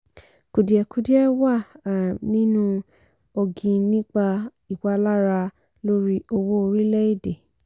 kùdìẹ̀kudiẹ wà um nínú ògìn nípa ìpalára lórí owó orílẹ̀ èdè.